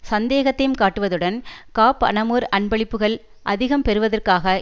சந்தேகத்தைக் காட்டுவதுடன் காப் அனமுர் அன்பளிப்புக்கள் அதிகம் பெறுவதற்காக